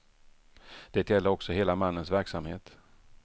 Det gäller också hela mannens verksamhet.